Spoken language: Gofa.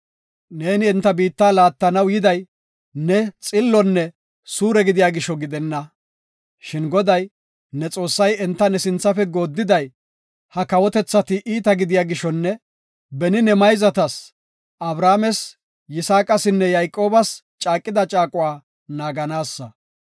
Ne enta biitta laattanaw yiday ne xillonne suure gidiya gisho gidenna. Shin Goday, ne Xoossay enta ne sinthafe gooddiday ha kawotethati iita gidiya gishonne beni ne mayzatas Abrahaames, Yisaaqasinne Yayqoobas caaqida caaquwa naaganaassa.